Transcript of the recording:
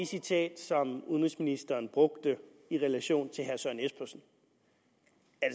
citat som udenrigsministeren brugte i relation til herre søren espersen